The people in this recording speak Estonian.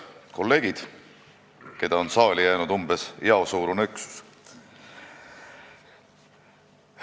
Head kolleegid, keda on saali jäänud umbes jaosuurune üksus!